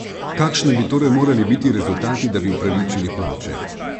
Kakšni bi torej morali biti rezultati, da bi upravičili plače?